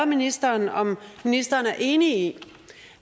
ministeren om ministeren er enig i